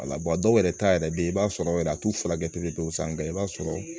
A la dɔw yɛrɛ ta yɛrɛ bɛ ye i b'a sɔrɔ yɛrɛ a t'u furakɛ perew san ka kɛ i b'a sɔrɔ